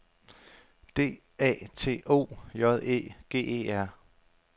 D A T O J Æ G E R